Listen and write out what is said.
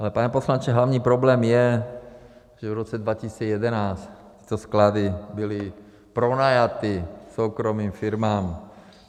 Ale pane poslanče, hlavní problém je, že v roce 2011 tyto sklady byly pronajaty soukromým firmám.